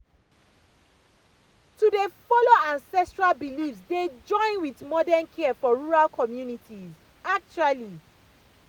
to dey follow ancestral beliefs dey join with modern care for rural communities pause actually.